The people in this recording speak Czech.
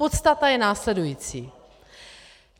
Podstata je následující.